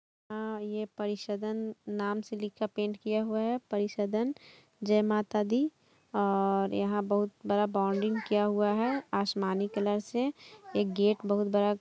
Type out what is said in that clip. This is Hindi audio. यह परिसदन नाम से लिखा पेंट किया हुआ है परिसदन जय माता दी और यहाँ बोहोत बड़ा बॉन्डिंग किया हुआ है आसमानी कलर से एक गेट बहुत बड़ा--